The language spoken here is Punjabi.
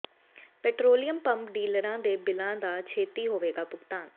ਪੈਟ੍ਰੋਲੀਅਮ ਪੰਪ ਡੀਲਰਾਂ ਦੇ ਬਿੱਲਾਂ ਦਾ ਛੇਤੀ ਹੋਵੇ ਭੁਗਤਾਨ